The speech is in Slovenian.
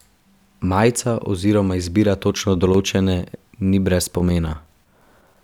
Majica oziroma izbira točno določene ni brez pomena.